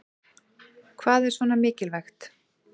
Hvað er svona mikilvægt